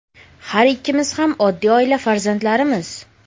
Har ikkimiz ham oddiy oila farzandlarimiz.